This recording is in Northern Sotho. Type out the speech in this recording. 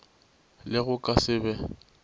le go ka se be